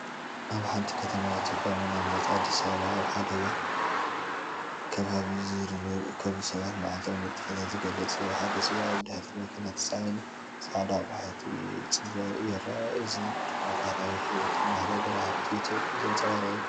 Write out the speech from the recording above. ኣብ ሓንቲ ከተማ ኢትዮጵያ፡ ምናልባት ኣዲስ ኣበባ፡ ኣብ ሓደ ዕዳጋ ከባቢ ዝርከቡ ሰባት መዓልታዊ ንጥፈታት ዝገልጽ እዩ፤ ሓደ ሰብኣይ ኣብ ድሕሪት መኪና ተጻዒኑ ጻዕዳ ኣቑሑት ክጽበ ይረአ፡ እዚ ድማ ባህላዊ ናይ ሂወት ኣማሓዳድራ፣ ሃብቲ ኢትዮጵያ ዘንጸባርቕ እዩ።